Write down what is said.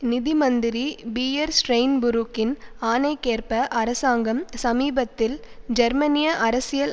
நிதி மந்திரி பீயர் ஸ்ரைன்புரூக்கின் ஆணைக்கேற்ப அரசாங்கம் சமீபத்தில் ஜெர்மனிய அரசியல்